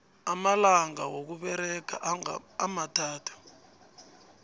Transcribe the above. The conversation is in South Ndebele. amalanga wokusebenza amathathu